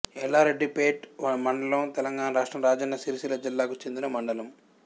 యల్లారెడ్డిపేట్ మండలం తెలంగాణ రాష్ట్రం రాజన్న సిరిసిల్ల జిల్లాకు చెందిన మండలం